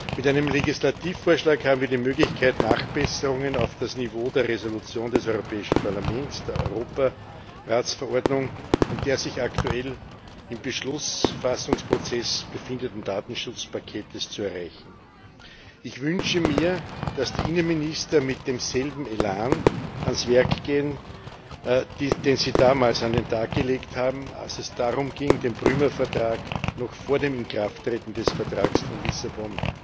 Mit einem Legislativvorschlag haben wir die Möglichkeit, Nachbesserungen auf das Niveau der Entschließung des Europäischen Parlaments, der Europaratsverordnung und des sich aktuell im Beschlussfassungsprozess befindenden Datenschutzpakets zu erreichen. Ich wünsche mir, dass die Innenminister mit demselben Elan ans Werk gehen, den sie damals an den Tag gelegt haben, als es darum ging, den Prümer Vertrag noch vor dem Inkrafttreten des Vertrags von Lissabon